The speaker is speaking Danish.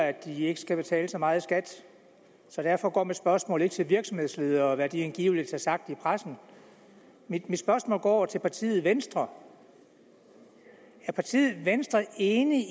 at de ikke skal betale så meget i skat så derfor går mit spørgsmål ikke til virksomhedsledere og om hvad de angiveligt har sagt i pressen mit spørgsmål går til partiet venstre er partiet venstre enig